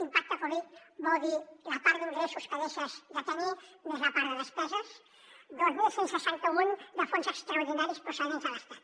impacte covid vol dir la part d’ingressos que deixes de tenir més la part de despeses dos mil cent i seixanta un de fons extraordinaris procedents de l’estat